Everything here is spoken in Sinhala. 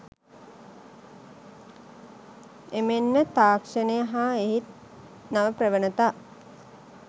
එමෙන්ම තාක්‍ෂණය හා එහි නව ප්‍රවණතා